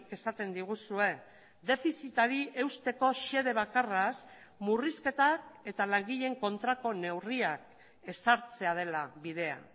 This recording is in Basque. esaten diguzue defizitari eusteko xede bakarraz murrizketak eta langileen kontrako neurriak ezartzea dela bidea